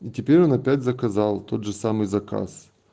и теперь он опять заказал тот же самый заказ